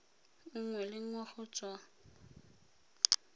nngwe le nngwe go tswa